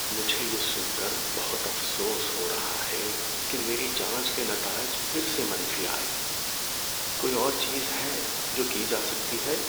مجھے یہ سن کر بہت افسوس ہو رہا ہے کہ میری جانچ کے نتائج پھر سے منفی آئے۔ کوئی اور چیز ہے جو کی جا سکتی ہے؟